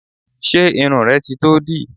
Ṣé irun rẹ ti tó dì?